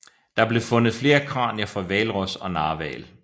Der blev fundet flere kranier fra hvalros og narhval